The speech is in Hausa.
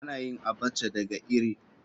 Ana yin Abacha daga iri.